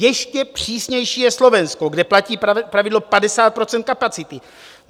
Ještě přísnější je Slovensko, kde platí pravidlo 50 % kapacity.